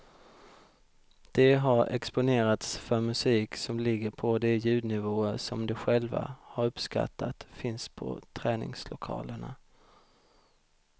De har exponerats för musik som ligger på de ljudnivåer som de själva har uppskattat finns på träningslokalerna.